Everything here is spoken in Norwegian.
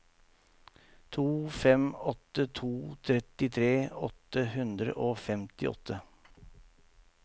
to fem åtte to trettitre åtte hundre og femtiåtte